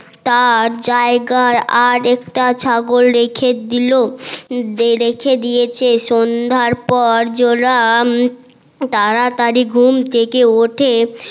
তার জায়গায় আরেকটা ছাগল রেখে দিল রেখে দিয়ে সে সন্ধার পর জোলা তাড়াতাড়ি ঘুম থেকে ওঠে